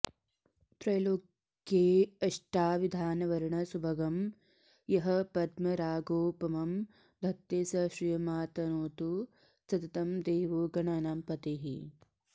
त्रैलोक्येष्टाविधानवर्णसुभगं यः पद्मरागोपमं धत्ते स श्रियमातनोतु सततं देवो गणानां पतिः